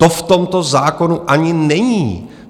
To v tomto zákonu ani není.